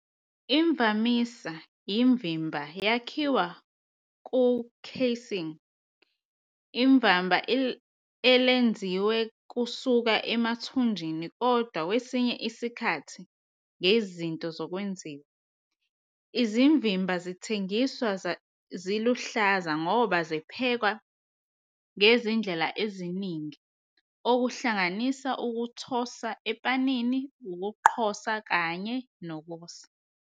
Imvamisa, imvimba yakhiwa ku- "casing" imvama elenziwe kusuka emathunjini kodwa kwesinye isikhathi ngezinto zokwenziwa. Izimvimba zithengiswa ziluhlaza ngoba ziphekwa ngezindlela eziningi, okuhlanganisa ukuthosa epanini, ukuqhosa kanye nokosa.